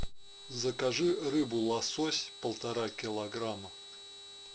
закажи рыбу лосось полтора килограмма